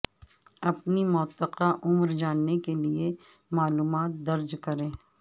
اپنی متوقع عمر جاننے کے لیے معلومات درج کریں